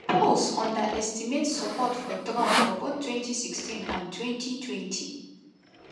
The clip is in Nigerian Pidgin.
polls underestimate support for trump for both 2016 and 2020.